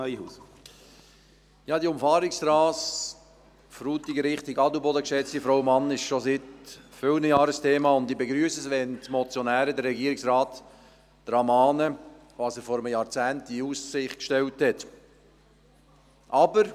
Diese Umfahrungsstrasse Frutigen in Richtung Adelboden ist schon seit vielen Jahren ein Thema, und ich begrüsse es, wenn die Motionäre den Regierungsrat daran erinnern, was er vor einem Jahrzehnt in Aussicht gestellt hat.